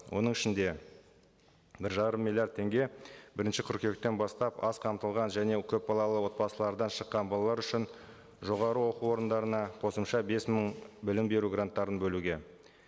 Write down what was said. оның ішінде бір жарым миллиард теңге бірінші қыркүйектен бастап аз қамтылған және көпбалалы отбасылардан шыққан балалар үшін жоғарғы оқу орындарына қосымша бес мың білім беру гранттарын бөлуге